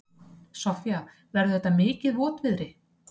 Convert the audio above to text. Soffía, verður þetta mikið votviðri?